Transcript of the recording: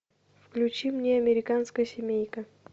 включи мне американская семейка